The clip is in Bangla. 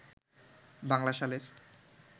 বাংলা সালের